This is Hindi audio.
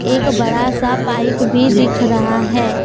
एक बड़ा सा पाइप भी दिख रहा है।